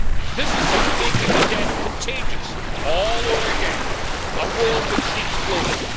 This is simply making the debt contagious all over again a wolf in sheep's clothing.